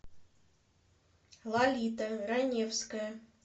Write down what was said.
лолита раневская